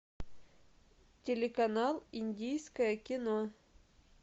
телеканал индийское кино